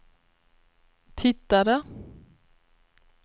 tittade